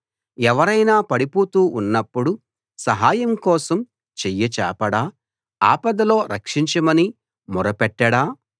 ఎవరైనా పడిపోతూ ఉన్నప్పుడు సహాయం కోసం చెయ్యి చాపడా ఆపదలో రక్షించమని మొర పెట్టడా